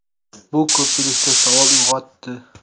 Bu ko‘pchilikda savol uyg‘otdi.